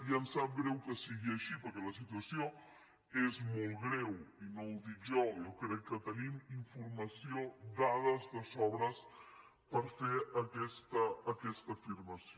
i em sap greu que sigui així perquè la situació és molt greu i no ho dic jo jo crec que tenim informació dades de sobres per fer aquesta afirmació